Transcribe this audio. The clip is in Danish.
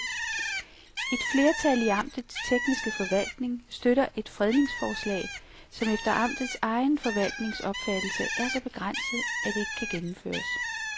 Et flertal i amtets tekniske forvaltning støtter et fredningsforslag, som efter amtets egen forvaltnings opfattelse er så begrænset, at det ikke kan gennemføres.